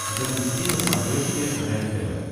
запусти на смотрешке рентв